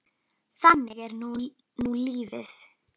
Þannig er nú lífið.